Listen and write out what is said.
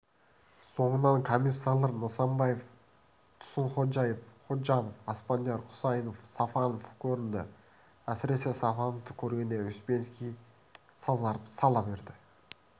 соңынан комиссарлар нысанбаев тұрсынходжаев ходжанов аспандияров хұсайынов сафонов көрінді әсіресе сафоновты көргенде успенский сазарып сала берді